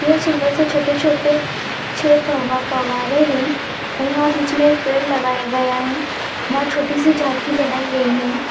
ये सुंदर से छोटे-छोटे छह फव् फव्वारे है और यहाँ बीच में एक पेड़ लगाया गया है वहाँ छोटी सी झांकी बनाई गई है।